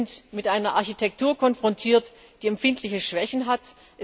Wir sind mit einer Architektur konfrontiert, die empfindliche Schwächen hat.